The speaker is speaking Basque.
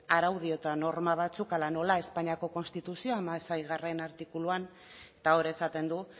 araudi eta norma batzuk hala nola espainiako konstituzioak hamaseigarrena artikuluan eta hor esaten du